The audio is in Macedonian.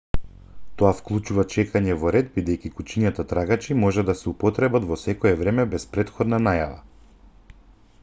тоа вклучува чекање во ред бидејќи кучињата трагачи може да се употребат во секое време без претходна најава